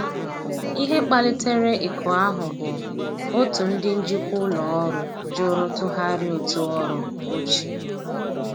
Ihe kpalitere iku ahu bụ otụ ndi njikwa ụlọ ọrụ jụrụ tughari ụtụ ọrụ ochie.